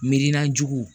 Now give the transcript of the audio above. Miirina juguw